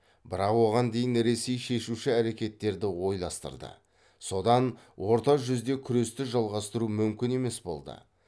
бірақ оған дейін ресей шешуші әрекеттерді ойластырды содан орта жүзде күресті жалғастыру мүмкін емес болды